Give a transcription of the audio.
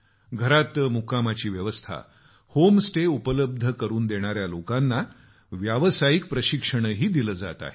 घरात मुक्कामाची सुविधा होम स्टे उपलब्ध करून देणाऱ्या लोकांना व्यावसायिक प्रशिक्षणही दिलं जात आहे